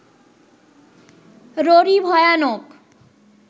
ররী ভয়ানক